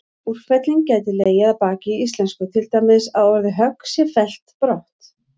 Úrfelling gæti legið að baki í íslensku, til dæmis að orðið högg sé fellt brott.